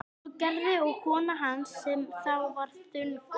Svo gerði og kona hans sem þá var þunguð.